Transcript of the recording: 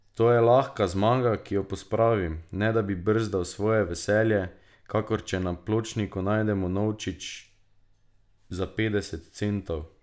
To je lahka zmaga, ki jo pospravim, ne da bi brzdal svoje veselje, kakor če na pločniku najdemo novčič za petdeset centov.